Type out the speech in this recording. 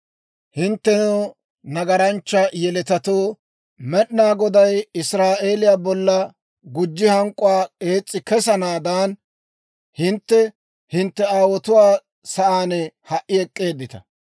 Hinttenoo, nagaranchcha yeletatoo, Med'inaa Goday Israa'eeliyaa bolla gujji hank'k'uwaa ees's'i kesanaadan, hintte hintte aawotuwaa sa'aan ha"i ek'k'eeddita.